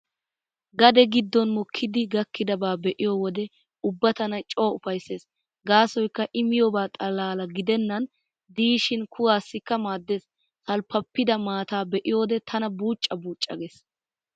Gade giddon mokkidi gakkidabaa be'iyo wode ubba tana coo ufayssees gaasoykka I miyoobaa xalla gidennan diishin kuwaassikka maaddees. Salppappida maataa be'iyoode tana buucca buucca gees.